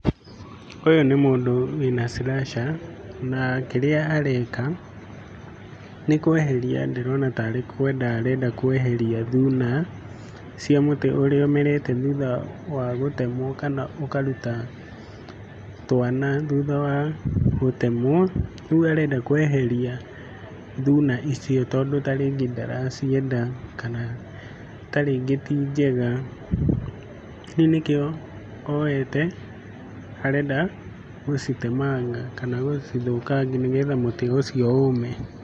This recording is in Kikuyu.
Ũyũ nĩ mũndũ wĩna slasher na kĩrĩa areka nĩkweheria ndĩrona tarĩ kwenda arenda kweheria thuna cia mũtĩ ũrĩa ũmerete thutha wa gũtemwo kana ũkaruta twana thutha wa gũtemwo, rĩu arenda kweheria thuna icio tondũ ta rĩngĩ ndaracienda kana ta rĩngĩ ti njega, rĩu nĩkĩo oyete arenda gũcitemanga kana gũcithũkangia nĩgetha mũtĩ ũcio ũme.